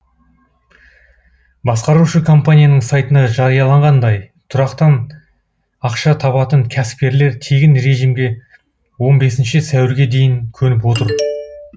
басқарушы компанияның сайтында жарияланғандай тұрақтан ақша табатын кәсіпкерлер тегін режимге он бесінші сәуірге дейін көніп отыр